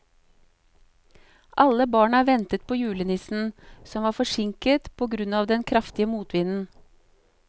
Alle barna ventet på julenissen, som var forsinket på grunn av den kraftige motvinden.